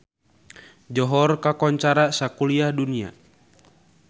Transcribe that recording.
Johor kakoncara sakuliah dunya